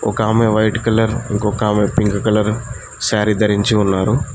ఒకమే white colour ఇంకొక ఆమె pink colour sari ధరించి ఉన్నారు.